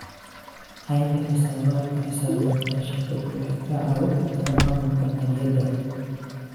Haynta xisaabaadka xisaabeed ee shirkadu waxay ka caawisaa maamulka maaliyadda.